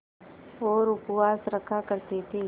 और उपवास रखा करती थीं